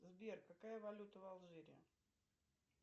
сбер какая валюта в алжире